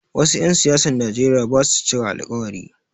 Wasu 'yan siyasan Nijeriya basu cika alkawari